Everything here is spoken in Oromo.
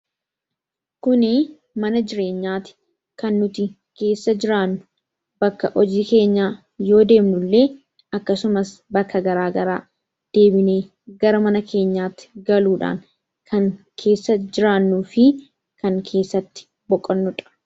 kuni mana jireenyaati kan nuti keessa jiraannu bakka hojii keenyaa yoo deemnu illee akkasumas bakka garaagaraa deebinee gara mana keenyaatti galuudhaan kan keessa jiraannuu fi kan keessatti boqannudha